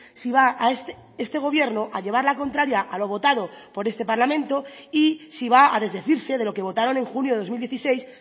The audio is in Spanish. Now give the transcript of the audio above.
si va este gobierno a llevar la contraria a lo votado por este parlamento y si va a desdecirse de lo que votaron en junio de dos mil dieciséis